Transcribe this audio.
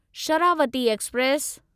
Sharavati express